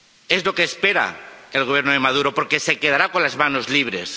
Es lo que espera el Gobierno de Maduro porque se quedará con las manos libres.